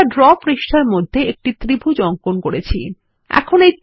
আমরা ড্র পৃষ্ঠার মধ্যে একটি ত্রিভুজ অঙ্কন করব যা আমরা আগে করেছি